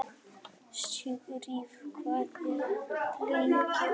Sigfríð, hvað er lengi opið í Samkaup Strax?